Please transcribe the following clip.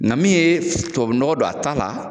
Nka min ye tubabu nɔgɔ don a ta la